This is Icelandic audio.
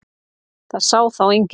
Það sá þá enginn.